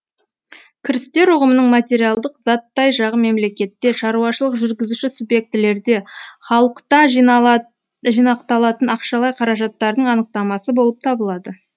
кірістер үғымының материалдық заттай жағы мемлекетте шаруашылық жүргізуші субъектілерде халықта жинақталатын ақшалай қаражаттардың анықтамасы болып табылады